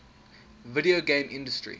video game industry